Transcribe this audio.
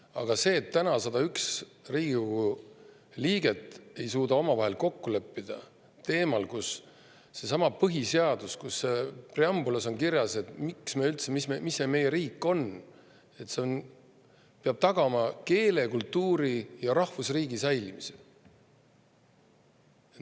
Aga nüüd ei suuda 101 Riigikogu liiget omavahel kokku leppida põhiseaduse teemal, mille preambulis on kirjas, mis see meie riik üldse on, et see peab tagama keele, kultuuri ja rahvusriigi säilimise!